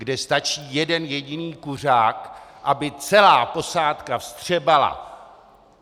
Kde stačí jeden jediný kuřák, aby celá posádka vstřebala.